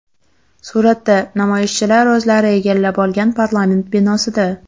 Suratda: namoyishchilar o‘zlari egallab olgan parlament binosida.